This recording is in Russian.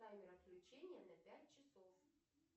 таймер отключения на пять часов